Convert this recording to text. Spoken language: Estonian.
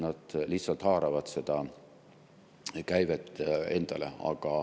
Nad lihtsalt haaravad seda käivet endale.